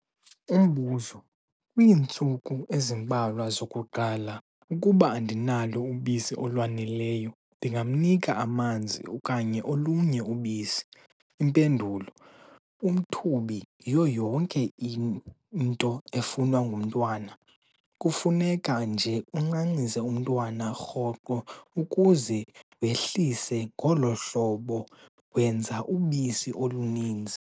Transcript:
Umbuzo- Kwiintsuku ezimbalwa zokuqala, ukuba andinalo ubisi olwaneleyo, ndingamnika amanzi okanye olunye ubisi? Impendulo- Umthubi uyiyo yonke into efunwa ngumntwana. Kufuneka nje uncancise umntwana rhoqo ukuze wehlise ngolo hlobo wenza ubisi oluninzi.